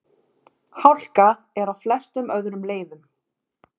Hálka er á flestum öðrum leiðum